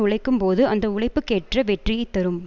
உழைக்கும் போது அந்த உழைப்புக் கேற்ற வெற்றியை தரும்